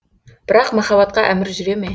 бірақ махаббатқа әмір жүре ме